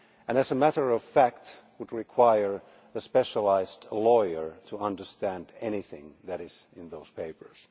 As a matter of fact, it would require a specialist lawyer to understand anything that is in those papers.